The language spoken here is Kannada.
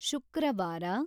ಶುಕ್ರವಾರ